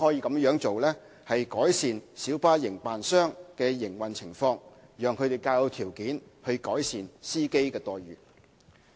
這樣做亦可改善小巴營辦商的營運情況，讓他們較有條件改善司機的待遇。